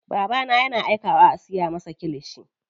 Babana yana aikawa a siya masa kilishi.